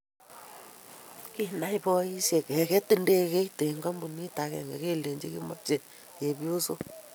Kinai boisekab keket ndegeait eng kampuni akenge kelinji kimeche chepyoso.